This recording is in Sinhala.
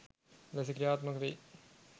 ලෙස ක්‍රියාත්මක වෙයි.